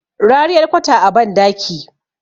rariyar kwata a bandaki